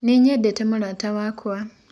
Nĩnyendete mũrata wakwa.